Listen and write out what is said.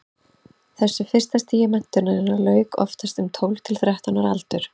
þessu fyrsta stigi menntunarinnar lauk oftast um tólf til þrettán ára aldur